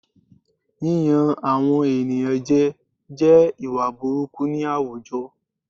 Yíyan àwọn ènìyàn jẹ jẹ́ ìwà burúkú ni àwùjọ